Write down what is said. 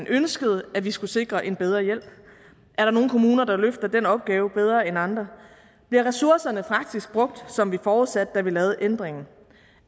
ønskede at vi skulle sikre en bedre hjælp er der nogle kommuner der løfter den opgave bedre andre bliver ressourcerne faktisk brugt som vi forudsatte da vi lavede ændringen